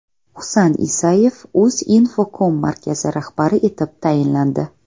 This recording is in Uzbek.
Husan Isayev UzInfocom markazi rahbari etib tayinlandi.